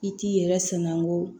I t'i yɛrɛ sana ko